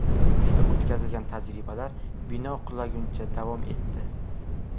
Uning ustida o‘tkazilgan tajribalar bino qulaguncha davom etdi.